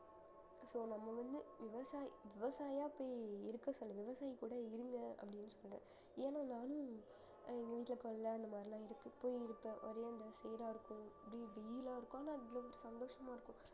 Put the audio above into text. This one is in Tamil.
so நம்ம வந்து விவசாயி~ விவசாயியா பே~ இருக்க சொல்ல விவசாயி கூட இருங்க அப்படினு சொல்லறேன் ஏன்னா நானும் அஹ் இங்க கொள்ளை அந்த மாதிரி எல்லாம் இருக்கு சீரா இருக்கும் இப்படி அவ்ளோ சந்தோசமா இருக்கும்